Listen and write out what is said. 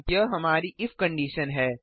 यह हमारी if condition है